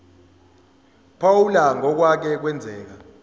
phawula ngokwake kwenzeka